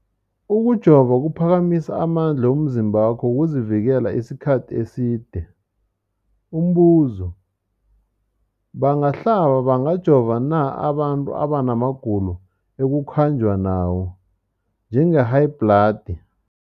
Ukujova kuphakamisa amandla womzimbakho wokuzivikela isikhathi eside. Umbuzo, bangahlaba, bangajova na abantu abana magulo ekukhanjwa nawo, njengehayibhladi?